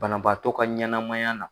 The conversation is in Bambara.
Banabaatɔ ka ɲanamaya na.